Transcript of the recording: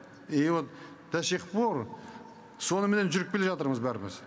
и вот до сих пор соныменен жүріп келе жатырмыз бәріміз